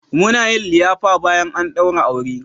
Muna yin liyafa bayan an daura aure.